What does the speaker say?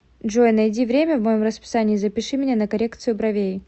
джой найди время в моем расписании и запиши меня на коррекцию бровей